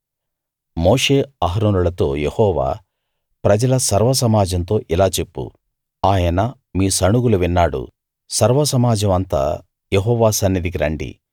మోషే అహరోనులతో యెహోవా ప్రజల సర్వ సమాజంతో ఇలా చెప్పు ఆయన మీ సణుగులు విన్నాడు సర్వ సమాజం అంతా యెహోవా సన్నిధికి రండి